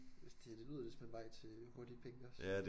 Hvis det det lyder lidt som en vej til hurtige penge også